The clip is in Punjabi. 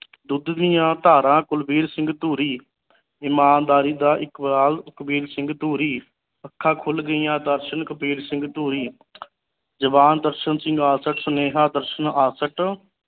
ਦੁੱਧ ਦੀਆ ਧਾਰਾ ਕੁਲਬੀਰ ਸਿੰਘ ਧੂਰੀ ਇਮਾਨਦਾਰੀ ਦਾ ਇਕਬਾਲ ਕੁਲਬੀਰ ਸਿੰਘ ਧੂਰੀ ਅੱਖਾਂ ਖੁਲ ਗਈਆ ਦਰਸ਼ਨ ਕੁਲਬੀਰ ਸਿੰਘ ਧੂਰੀ ਜਵਾਨ ਦਰਸ਼ਨ ਸਿੰਘ ਆਸਠ ਸੁਨੇਹਾ ਦਰਸ਼ਨ